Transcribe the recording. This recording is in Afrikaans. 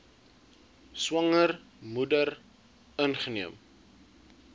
swanger moeder ingeneem